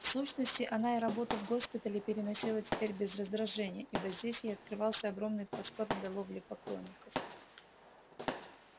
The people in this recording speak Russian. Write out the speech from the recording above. в сущности она и работу в госпитале переносила теперь без раздражения ибо здесь ей открывался огромный простор для ловли поклонников